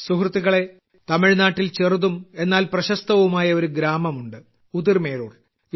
സുഹൃത്തുക്കളേ തമിഴ്നാട്ടിൽ ചെറുതും എന്നാൽ പ്രശസ്തവുമായ ഒരു ഗ്രാമമുണ്ട് ഉതിർമേരൂർ